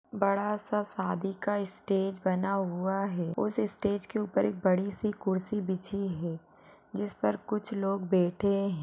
बड़ासा शादी का इस्टेज बना हुआ है उस इस्टेज के ऊपर एक बड़ीसी कुर्सी बिछी है जिस पर कुछ लोग बैठे है।